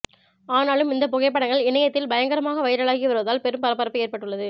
ஆனாலும் இந்த புகைப்படங்கள் இணையத்தில் பயங்கரமாக வைரலாகி வருவதால் பெரும் பரபரப்பு ஏற்பட்டுள்ளது